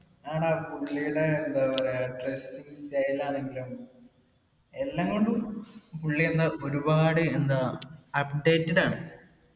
ആടാ പുള്ളീടെ എന്താ പറയാ dressing style ആണെങ്കിലും എല്ലാംകൊണ്ടും പുള്ളിയെന്താ ഒരുപാട് എന്താ updated ആണ്.